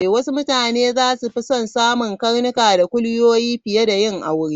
Wasu mutane za su fi son samun karnuka da kuliyoyi fiye da yin aure.